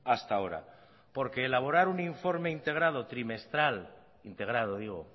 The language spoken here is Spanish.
hasta ahora porque elaborar un informe integrado trimestral integrado digo